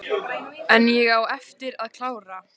En ég á eftir að klára.